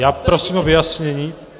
Já prosím o vyjasnění.